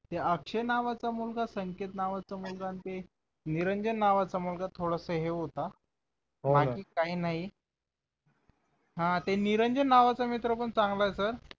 ते अक्षय नावाचा मुलगा संकेत नावाचा मुलगा आणि ते निरंजन नावाचा मुलगा थोडासा हे होता हो हो बाकी काही नाही हा ते निरंजन नावाचा मित्र पण चांगला आहे sir